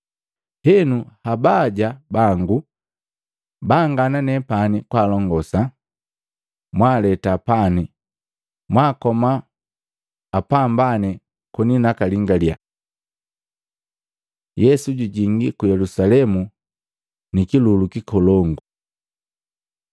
Henu abaya bangu baangana nepani kwaalongosa, mwaaleta pani na mwaakoma apambane koni nakalingalya.’ ” Yesu jujingi ku Yelusalemu nikilulu kikolongu Matei 21:1-11; Maluko 11:1-11; Yohana 12:12-19